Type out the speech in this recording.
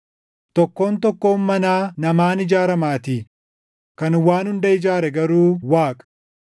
Tokkoon tokkoon manaa namaan ijaaramaatii; kan waan hunda ijaare garuu Waaqa.